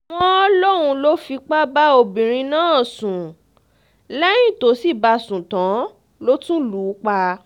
wọ́n lóun ló fipá bá obìnrin náà sùn lẹ́yìn tó sì bá a sùn tán ló tún lù ú pa